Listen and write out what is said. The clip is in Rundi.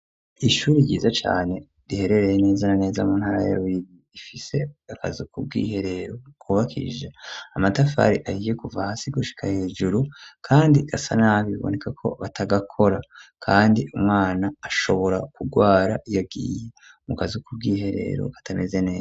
Ishure ryiza cane riherereye neza na neza mu ntara ya bururi ifise akazu kubw'iherero kubakishijwe amatafari ahiye kuva hasi gushika hejuru kandi gasana biboneka ko batagakora kandi umwana ashobora kugwara yagiye mu kazi kubw'iherero katameze neza.